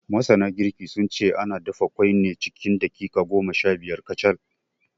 Masana girki, sun ce ana dafa ƙwai ne cikin daƙiƙa goma shabiyar kacal.